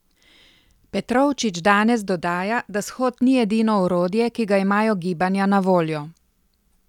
Petrovčič danes dodaja, da shod ni edino orodje, ki ga imajo gibanja na voljo.